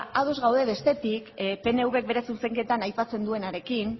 ados gaude bestetik pnvk bere zuzenketan aipatzen duenarekin